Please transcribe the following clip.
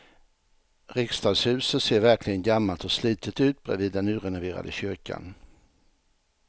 Riksdagshuset ser verkligen gammalt och slitet ut bredvid den nyrenoverade kyrkan.